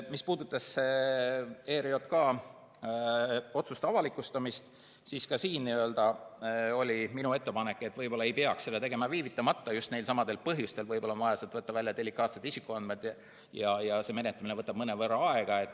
Mis puudutab ERJK otsuste avalikustamist, siis ka siin oli minu ettepanek, et võib-olla ei peaks seda tegema viivitamata, just neil samadel põhjustel, et võib-olla on vaja sealt võtta välja delikaatsed isikuandmed ja see menetlemine võtab mõnevõrra aega.